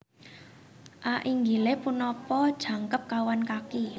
A Inggilé punapa jangkep kawan kaki